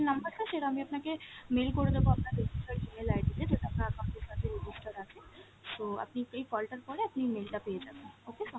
number টা সেটা আমি আপনাকে mail করে দেব আপনার registered email ID তে যেটা আপনার account এর সাথে register আছে। so আপনি এই call টার পরে আপনি mail টা পেয়ে যাবেন okay sir?